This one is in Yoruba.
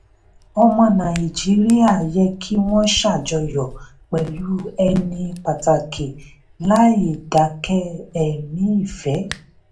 ọmọ nàìjíríà yẹ kí wọ́n ṣàjọyọ̀ pẹ̀lú ẹni pàtàkì láì dákẹ́ ẹ̀mí ìfẹ́.